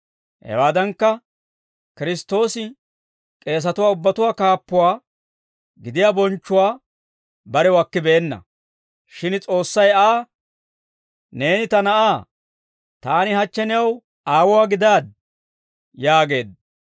Hewaadankka, Kiristtoosi k'eesatuwaa ubbatuwaa kaappuwaa gidiyaa bonchchuwaa barew akkibeenna; shin S'oossay Aa, «Neeni ta Na'aa. Taani hachche new Aawuwaa gidaaddi» yaageedda.